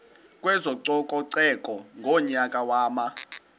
kwezococeko ngonyaka wama